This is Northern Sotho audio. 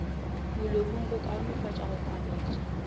molomong go kaonefatša go kwametša